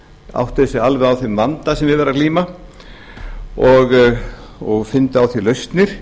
sig alveg á þeim vanda sem við er að glíma og fyndu á því lausnir